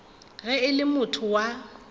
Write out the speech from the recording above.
ge e le motho wa